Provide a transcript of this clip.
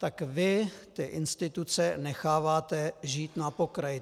Tak vy ty instituce necháváte žít na pokraji.